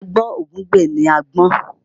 Àáyá gbọ́n ògúngbè náà gbọ́n